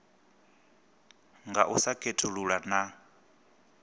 nga u sa khethulula na